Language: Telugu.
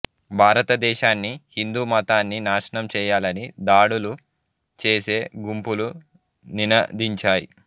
భారతదేశాన్ని హిందూ మతాన్నీ నాశనం చేయాలని దాడులు చేసే గుంపులు నినదించాయి